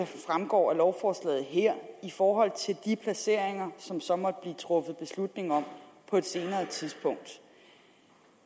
fremgår af lovforslaget her i forhold til de placeringer som der så måtte blive truffet beslutning om på et senere tidspunkt